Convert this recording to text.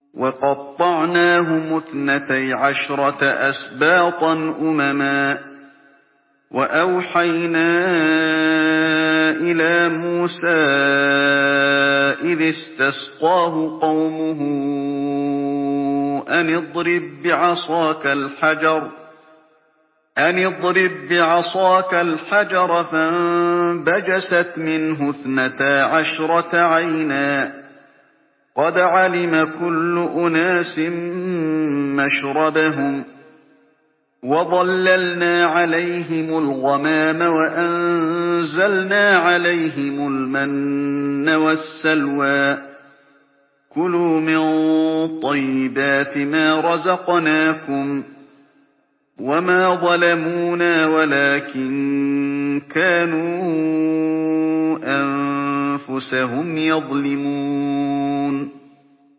وَقَطَّعْنَاهُمُ اثْنَتَيْ عَشْرَةَ أَسْبَاطًا أُمَمًا ۚ وَأَوْحَيْنَا إِلَىٰ مُوسَىٰ إِذِ اسْتَسْقَاهُ قَوْمُهُ أَنِ اضْرِب بِّعَصَاكَ الْحَجَرَ ۖ فَانبَجَسَتْ مِنْهُ اثْنَتَا عَشْرَةَ عَيْنًا ۖ قَدْ عَلِمَ كُلُّ أُنَاسٍ مَّشْرَبَهُمْ ۚ وَظَلَّلْنَا عَلَيْهِمُ الْغَمَامَ وَأَنزَلْنَا عَلَيْهِمُ الْمَنَّ وَالسَّلْوَىٰ ۖ كُلُوا مِن طَيِّبَاتِ مَا رَزَقْنَاكُمْ ۚ وَمَا ظَلَمُونَا وَلَٰكِن كَانُوا أَنفُسَهُمْ يَظْلِمُونَ